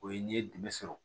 O ye n'i ye dɛmɛ sɔrɔ